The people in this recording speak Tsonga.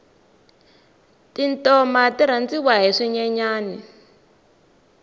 tintoma ti rhandziwa hi swinyenyani